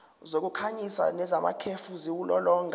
zokukhanyisa nezamakhefu ziwulolonga